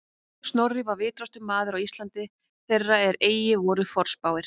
Snorri var vitrastur maður á Íslandi þeirra er eigi voru forspáir